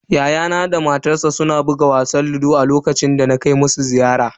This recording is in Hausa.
Yayana da matarsa suna buga wasan ludo a lokacin da na kai musu ziyara.